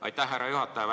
Aitäh, härra juhataja!